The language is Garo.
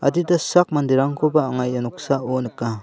adita sak manderangkoba anga ia noksao nika.